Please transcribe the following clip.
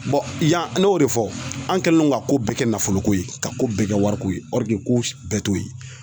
yan ne y'o de fɔ an kɛlen don ka ko bɛɛ kɛ nafoloko ye ka ko bɛɛ kɛ wariko ye ko bɛɛ to yen